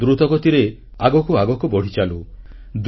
ଦେଶ ଦ୍ରୁତ ଗତିରେ ଆଗକୁ ଆଗକୁ ବଢ଼ିଚାଲୁ